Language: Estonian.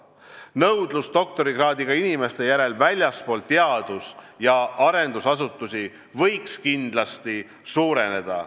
Nõudlus doktorikraadiga inimeste järele väljaspool teadus- ja arendusasutusi võiks kindlasti suureneda.